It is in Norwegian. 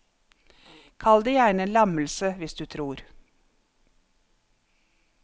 Kall det gjerne en lammelse, hvis du tror.